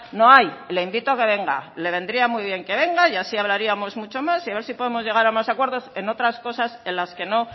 no hay le invito a que venga le vendría muy bien que venga y así hablaríamos mucho más y a ver si podemos llegar a más acuerdos en otras cosas en las que no